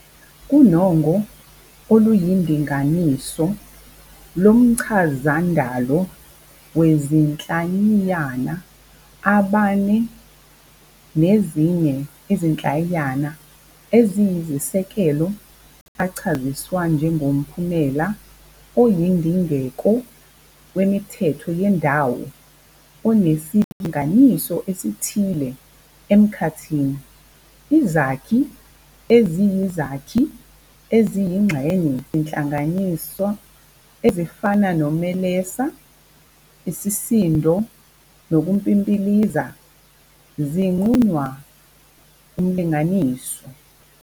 KuNongo oluyiNdinganiso lomchazandalo wezinhlayiyana, amabane nezinye izinhlayiyana eziyisisekelo achaziswa njengomphumela oyindingeko wemithetho yendalo onesilinganiso esithile emkhathini. Izakhi eziyizakhi eziyingxenye yezinhlayiyana, ezifana nomlelesa, isisindo nokumpimpiliza, zinqunywa umlinganiso.